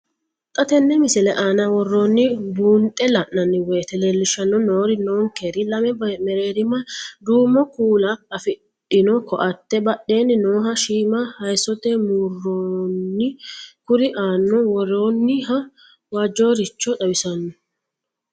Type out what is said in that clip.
Xa tenne missile aana worroonniri buunxe la'nanni woyiite leellishshanni noori ninkera lame mereerima duumo kuula afidhino koatte, badeenni nooha shiima hayiissote muronna kuri aanaho worroonniha waajjoricho xawissanno.